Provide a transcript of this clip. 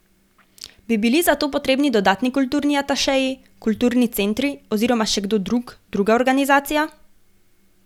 Bi bili za to potrebni dodatni kulturni atašeji, kulturni centri oziroma še kdo drug, druga organizacija?